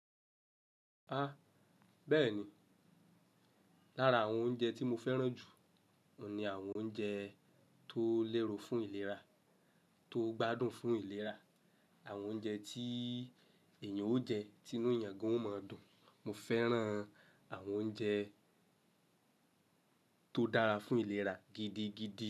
Ha! Bẹ́ẹ̀ni. Lára àwọn oúnjẹ tí mo fẹ́ràn jù, òun ni àwọn oúnjẹ tó léro fún ìlera, tó gbádùn fún ìlera, àwọn oúnjẹ tí èèyàn ó jẹ, tí inú eyàn gan ó máa dùn. Mo fẹ́ràn àwọn oúnjẹ tó dára fún ìlera gidigidi.